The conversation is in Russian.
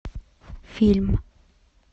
фильм